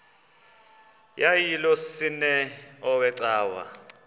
yayilolwesine iwe cawa